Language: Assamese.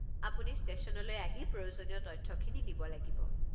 আপুনি ষ্টেশ্যনলৈ আহি প্রয়োজনীয় তথ্যখিনি দিব লাগিব।